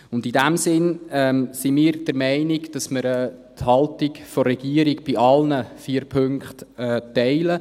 Und in diesem Sinne sind wir der Meinung, dass wir die Haltung der Regierung bei allen vier Punkten teilen.